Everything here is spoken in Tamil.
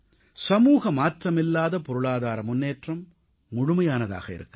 சமூக மாற்றமில்லாத பொருளாதார முன்னேற்றம் முழுமையானதாக இருக்காது